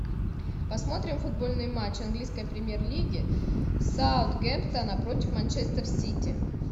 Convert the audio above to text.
посмотрим футбольный матч английской премьер лиги саутгемптона против манчестер сити